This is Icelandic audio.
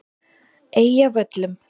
Eyjavöllum